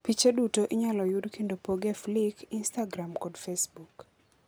Piche duto inyalo yud kendo pog e Flickr, Instagram kod Facebook.